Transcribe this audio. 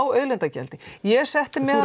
auðlindagjaldi ég setti meðal